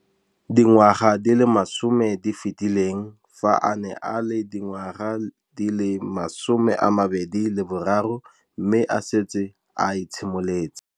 Dingwaga di le 10 tse di fetileng, fa a ne a le dingwaga di le 23 mme a setse a itshimoletse.